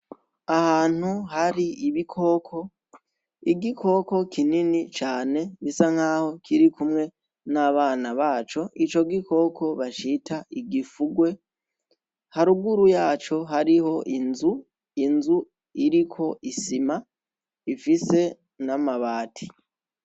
Ahantu hari ibikoko igikoko kinini cane bisa nk'aho kiri kumwe n'abana baco ico gikoko bashita igifugwe haruguru yaco hariho inzu inzu iriko isima ifise n'amabati.